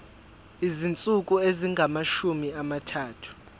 izinsuku ezingamashumi amathathu